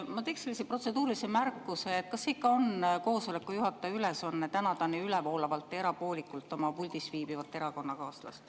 Ma teeks sellise protseduurilise märkuse, et kas see ikka on juhataja ülesanne tänada nii ülevoolavalt ja erapoolikult oma puldis viibivat erakonnakaaslast.